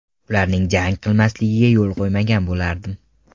Ularning jang qilmasligiga yo‘l qo‘ymagan bo‘lardim.